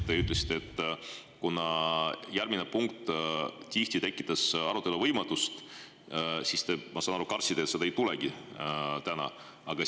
Te ütlesite, et kuna järgmise punkti puhul tekkis tihti arutelu võimatus, siis, ma saan aru, te kartsite, et seda ei tule ka täna.